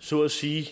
så at sige